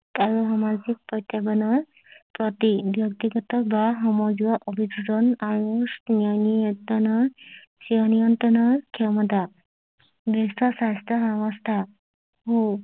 আৰু সামাজিক প্ৰত্যাহ্বানৰ প্ৰতিক ব্যক্তিগত বা সমজুৱা অভযোজন আৰু নিয়ন্ত্ৰনৰ নিয়ন্ত্ৰণৰ ক্ষমতা বিশ্ব স্বাস্থ্য ব্যৱস্থা হল